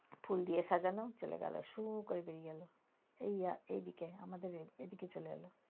ফুল দিয়ে সাজানো চলে গেলো, শু করে বেরি গেলো এদিকে, আমাদের এদিকে চলে গেলো।